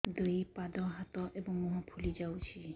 ଦୁଇ ପାଦ ହାତ ଏବଂ ମୁହଁ ଫୁଲି ଯାଉଛି